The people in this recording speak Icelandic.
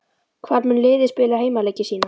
Hvar mun liðið spila heimaleiki sína?